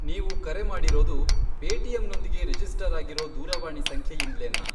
ನೀವು ಕರೆ ಮಾಡಿರೋದು ಪೇಟಿಎಮ್ನೊಂದಿಗೆ ರಿಜಿಸ್ಟರ್ ಆಗಿರೋ ದೂರವಾಣಿ ಸಂಖ್ಯೆಯಿಂದ್ಲೇನಾ?